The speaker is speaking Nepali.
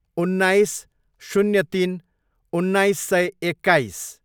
उन्नाइस, शून्य तिन, उन्नाइस सय एक्काइस